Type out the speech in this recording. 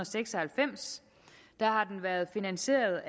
seks og halvfems har den været finansieret